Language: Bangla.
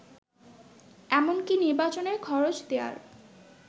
এমনকি নির্বাচনের খরচ দেয়ার